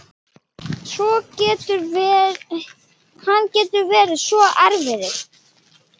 Hann getur verið svo erfiður